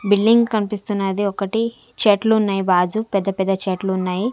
Building కనిపిస్తున్నది ఒకటి చెట్లు ఉన్నాయి బాజు పెద్ద పెద్ద చెట్లు ఉన్నాయి.